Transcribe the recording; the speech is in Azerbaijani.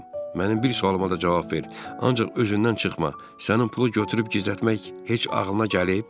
Mənim bir sualıma da cavab ver, ancaq özündən çıxma, sənin pulu götürüb gizlətmək heç ağılına gəlib?